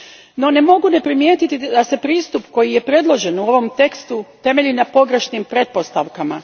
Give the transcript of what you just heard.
No, ne mogu ne primijetiti da se pristup koji je predložen u ovom tekstu temelji na pogrešnim pretpostavkama.